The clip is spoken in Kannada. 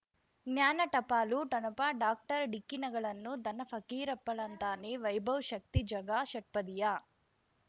ಜ್ಞಾನ ಟಪಾಲು ಠೊಣಪ ಡಾಕ್ಟರ್ ಢಿಕ್ಕಿ ಣಗಳನು ಧನ ಫಕೀರಪ್ಪ ಳಂತಾನೆ ವೈಭವ್ ಶಕ್ತಿ ಝಗಾ ಷಟ್ಪದಿಯ